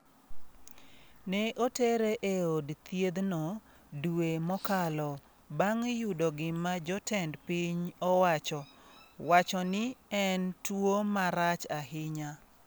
Ne otere e od thiedhno dwe mokalo bang’ yudo gima jotend piny owacho wacho ni en tuwo marach ahinya.